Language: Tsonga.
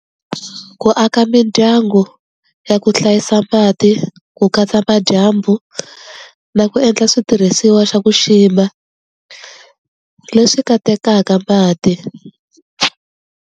Ku aka mindyangu ya ku hlayisa mati ku katsa madyambu na ku endla switirhisiwa xa ku xima leswi katekaka mati.